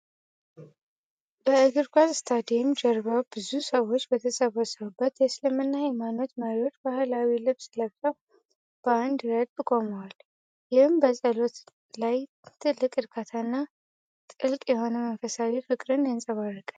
በእግር ኳስ ስታዲየም ጀርባ ብዙ ሰዎች በተሰበሰቡበት፣ የእስልምና ሀይማኖት መሪዎች ባህላዊ ልብስ ለብሰው በአንድ ረድፍ ቆመዋል። ይህም በጸሎት ላይ ትልቅ እርካታን እና ጥልቅ የሆነ መንፈሳዊ ፍቅርን ያንፀባርቃል።